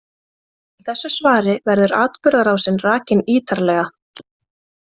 Í þessu svari verður atburðarásin rakin ítarlega.